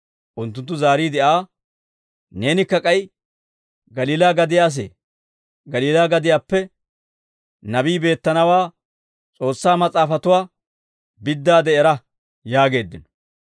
Unttunttu zaariide Aa, «Neenikka k'ay Galiilaa gadiyaa asee? Galiilaa gadiyaappe Nabii beettenawaa S'oossaa Mas'aafatuwaa biddaade era» yaageeddino.